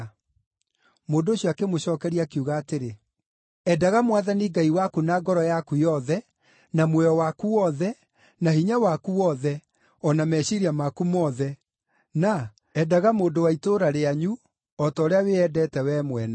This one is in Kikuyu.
Mũndũ ũcio akĩmũcookeria, akiuga atĩrĩ, “ ‘Endaga Mwathani Ngai waku na ngoro yaku yothe, na muoyo waku wothe, na hinya waku wothe, o na meciiria maku mothe’; na ‘Endaga mũndũ wa itũũra rĩanyu o ta ũrĩa wĩyendete wee mwene.’ ”